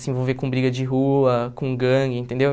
Se envolver com briga de rua, com gangue, entendeu?